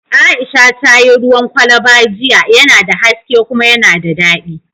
Aisha ta yi ruwan kwalba jiya, yana da haske kuma yana da daɗi